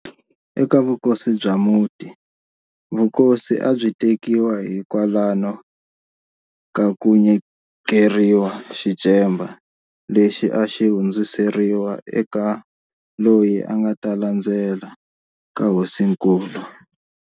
Eka vukosi bya muti, vukosi a byi tekiwa hi kwalano ka ku nyikeriwa xicemba lexi a xi hundziseriwa eka loyi a nga ta landzela ka hosinkulu.